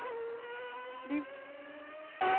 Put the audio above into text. bliv